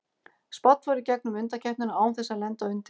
Spánn fór í gegnum undankeppnina án þess að lenda undir.